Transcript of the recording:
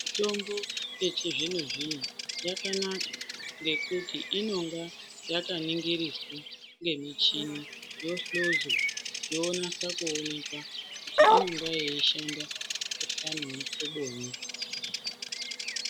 Mitombo yechizvino-zvino yakanaka ngekuti inonga yakaningiriswa ngemichini yohluzwa yonase kuonekwa kuti inenge yeishanda kumukhuhlani wemuhloboyi.